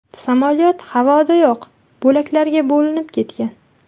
Samolyot havodayoq bo‘laklarga bo‘linib ketgan.